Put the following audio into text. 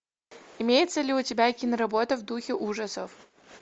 имеется ли у тебя киноработа в духе ужасов